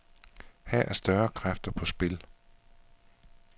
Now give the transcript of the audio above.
Her er større kræfter på spil.